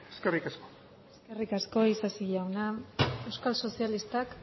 eskerrik asko eskerrik asko isasi jauna euskal sozialistak